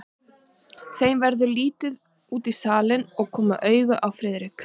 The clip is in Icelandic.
Þeim verður litið út í salinn og koma auga á Friðrik.